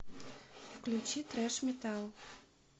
включи трэш метал